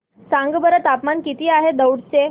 सांगा बरं तापमान किती आहे दौंड चे